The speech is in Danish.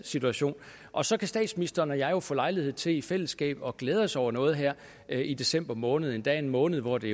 situation og så kan statsministeren og jeg få lejlighed til i fællesskab at glæde os over noget her i december måned endda en måned hvor det